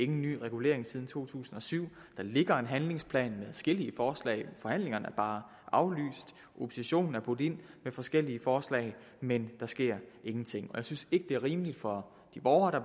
ny regulering siden to tusind og syv der ligger en handlingsplan med adskillige forslag forhandlingerne er bare aflyst oppositionen har budt ind med forskellige forslag men der sker ingenting jeg synes ikke det er rimeligt over for de borgere og